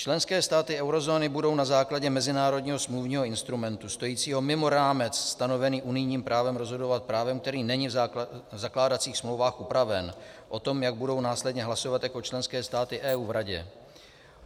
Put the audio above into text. Členské státy eurozóny budou na základě mezinárodního smluvního instrumentu stojícího mimo rámec stanovený unijním právem rozhodovat, právem, který není v zakládacích smlouvách upraven, o tom, jak budou následně hlasovat jako členské státy EU v Radě.